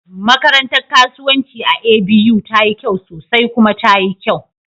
Makarantar kasuwanci a A.B.U tayi kyau sosai kuma tayi kyau